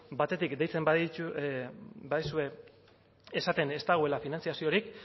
batetik deitzen badizue esaten ez dagoela finantziaziorik